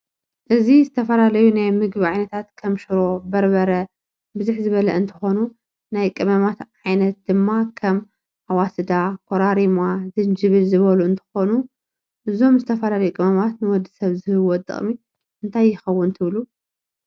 እዚ ዝተፈላላዩ ናይ ምግብ ዓይነታት ክም ሽሮ፣ በርበረ ብዝሕ ዝበለ እንትኮኑ ናይ ቀመማት ዓይነት ድማ ከም ኣዋስዳ ፣ኮራርማ ፣ጅንጅብል ዝበሉ እንትከውን እዞም ዝተፈላላዩ ቀመማት ንወድሰብ ዝህብዎ ጥቅም እንታይ የከውን ትብሉ?